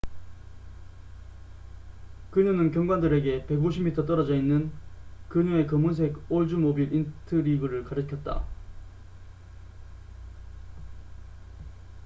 그녀는 경관들에게 150미터 떨어져 있는 그녀의 검은색 올즈모빌 인트리그를 가리켰다